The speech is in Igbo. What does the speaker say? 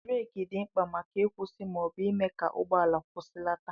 bureki dị mkpa maka ịkwụsị ma ọ bụ ịme ka ụgbọala kwụsịlata